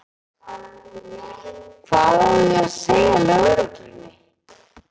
Hvað á ég að segja lögreglunni?